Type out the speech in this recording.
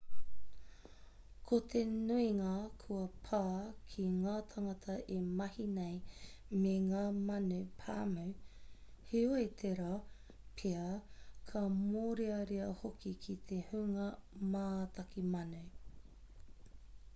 ko te nuinga kua pā ki ngā tāngata e mahi nei me ngā manu pāmu heoi tērā pea ka mōrearea hoki ki te hunga mātaki manu